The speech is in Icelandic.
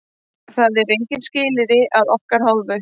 Það eru engin skilyrði að okkar hálfu.